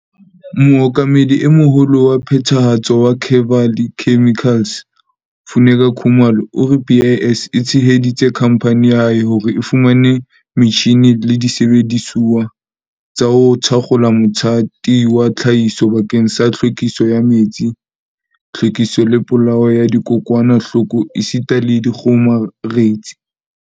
Mookamedi e Moholo wa Phethahatso wa Kevali Chemi-cals, Funeka Khumalo, o re BIS e tsheheditse khamphane ya hae hore e fumane metjhine le disebedisuwa tsa ho thakgola mothati wa tlhahiso bakeng sa tlhwekiso ya metsi, tlhwekiso le polao ya dikokwanahloko esita le dikgomaretsi.